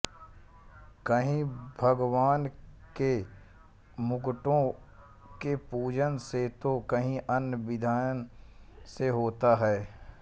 कहीं भगवान के मुकुटों के पूजन से तो कहीं अन्य विधान से होता है